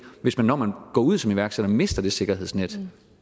hvis man når man går ud som iværksætter mister det sikkerhedsnet